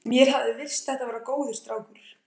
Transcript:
Mér hafði virst þetta vera góður strákur.